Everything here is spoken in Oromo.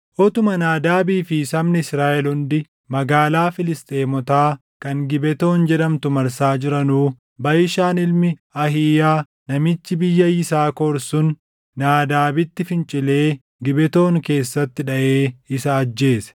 Utuma Naadaabii fi sabni Israaʼel hundi magaalaa Filisxeemotaa kan Gibetoon jedhamtu marsaa jiranuu Baʼishaan ilmi Ahiiyaa namichi biyya Yisaakor sun Naadaabitti fincilee Gibetoon keessatti dhaʼee isa ajjeese.